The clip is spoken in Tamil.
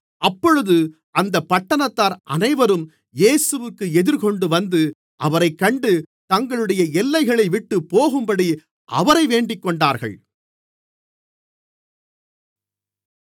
அப்பொழுது அந்தப் பட்டணத்தார் அனைவரும் இயேசுவிற்கு எதிர்கொண்டுவந்து அவரைக்கண்டு தங்களுடைய எல்லைகளைவிட்டுப்போகும்படி அவரை வேண்டிக்கொண்டார்கள்